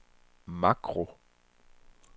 makro